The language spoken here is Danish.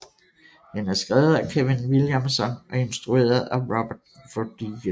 Den er skrevet af Kevin Williamson og instrueret af Robert Rodriguez